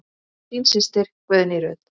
Þín systa, Guðný Ruth.